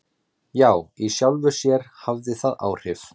Já í sjálfu sér hafði það áhrif.